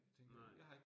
Nej